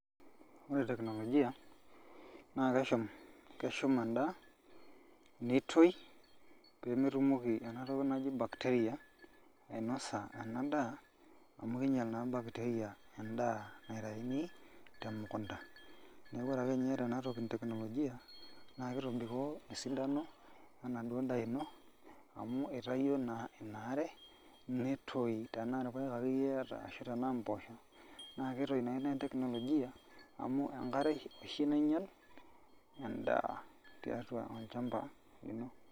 Ore teknolojia naa keshum endaa, nitoi pemetumoki enatoki naji bacteria enadaa amu kinyal naa bacteria endaa naitaini temukunta. Neeku ore akenye iyata enatoki e teknolojia, na kitobikoo esidano enaduo daa ino, amu itayio naa inaare nitoi tenaa irpaek akeyie iyata ashu tenaa mpoosho, na kitoi naa ina teknolojia, amu enkare oshi nainyal endaa tiatua olchamba lino.